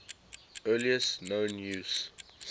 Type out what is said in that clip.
earliest known use